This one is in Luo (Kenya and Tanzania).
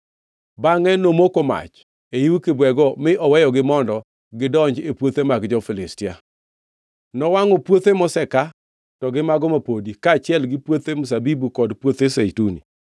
bangʼe nomako mach e yiw kibwego mi oweyogi mondo gidonj e puothe mag jo-Filistia. Nowangʼo puothe moseka to gi mago mapodi, kaachiel gi puoth mzabibu kod puothe zeituni.